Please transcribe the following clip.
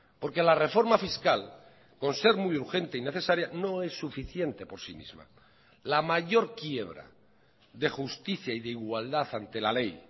porque la reforma fiscal con ser muy urgente y necesaria no es suficiente por sí misma la mayor quiebra de justicia y de igualdad ante la ley